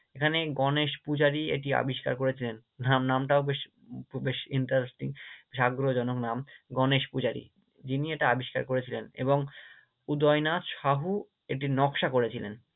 সেখানে গণেশ পূজারী এটি আবিষ্কার করেছিলেন, আর নামটাও বেশ বেশ Interesting বেশ আগ্রহজনক নাম গণেশ পূজারী, যিনি এটা আবিষ্কার করেছিলেন এবং উদয়নাথ শাহু এটির নকশা করেছিলেন।